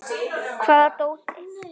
Hvaða dóti?